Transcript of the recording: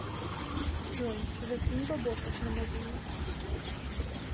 джой закинь бабосов на мобилу